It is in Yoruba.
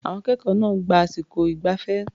Àwọn akẹ́kọ̀ọ́ náà gba àsìkò ìgbafẹ́.